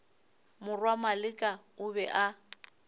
morwa maleka o be a